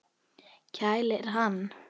Kælir hann.